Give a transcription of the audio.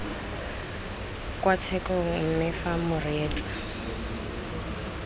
kwa tshekong mme fa moreetsa